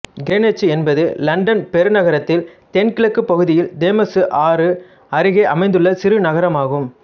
கிரேனிச்சு என்பது இலண்டன் பெருநகரத்தில் தென் கிழக்குப் பகுதியில் தேம்சு ஆறு அருகே அமைந்துள்ள சிறு நகரமாகும்